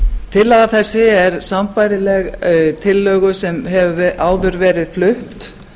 tillaga þessi er sambærileg tillögu sem hefur áður verið flutt